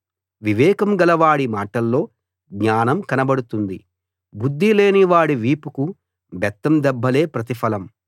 వివేకం గలవాడి మాటల్లో జ్ఞానం కనబడుతుంది బుద్ధిలేనివాడి వీపుకు బెత్తం దెబ్బలే ప్రతిఫలం